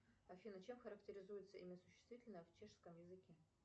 афина чем характеризуется имя существительное в чешском языке